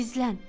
Gizlən!